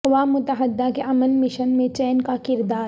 اقوام متحدہ کے امن مشن میں چین کا کردار